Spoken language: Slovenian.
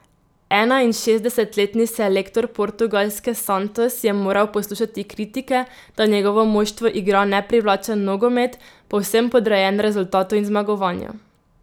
Enainšestdesetletni selektor Portugalske Santos je moral poslušati kritike, da njegovo moštvo igra neprivlačen nogomet, povsem podrejen rezultatu in zmagovanju.